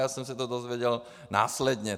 Já jsem se to dozvěděl následně.